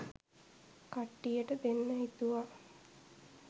කට්ටියට දෙන්න හිතුවා